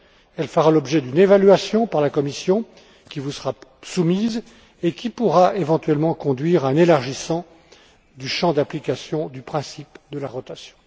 Elle fera l'objet d'une évaluation par la Commission, qui vous sera soumise, et qui pourra, éventuellement, conduire à un élargissement du champ d'application du principe de la rotation.